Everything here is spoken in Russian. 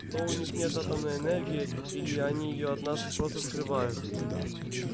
то у них нет атомной энергии или они её от нас просто скрывают